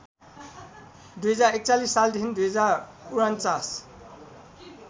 २०४१ सालदेखि २०४९